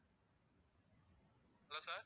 hello sir